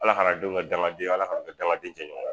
Ala kan'an denw kɛ dangadenw ye ala kan'an kɛ dangaden jɛɲɔgɔn ye